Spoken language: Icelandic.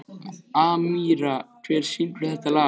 Amíra, hver syngur þetta lag?